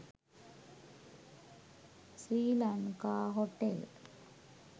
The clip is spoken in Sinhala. srilanka hotel